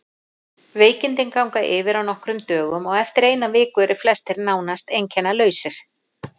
Veikindin ganga yfir á nokkrum dögum og eftir eina viku eru flestir nánast einkennalausir.